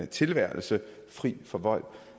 tilværelse fri for vold